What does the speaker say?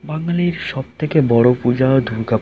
বাঙালির সবথেকে বড়ো পূজা দূর্গা পূজা।